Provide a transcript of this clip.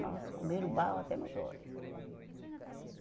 Nossa, comeram barro até nos olho.